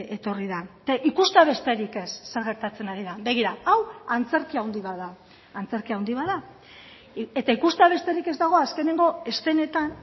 etorri da eta ikustea besterik ez zer gertatzen ari den begira hau antzerki handi bat da antzerki handi bat da eta ikustea besterik ez dago azkeneko eszenetan